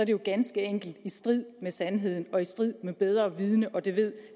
jo ganske enkelt i strid med sandheden og i strid med bedre vidende og det ved